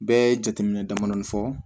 Bɛɛ ye jateminɛ damadɔɔni fɔ